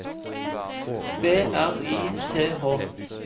B R I T H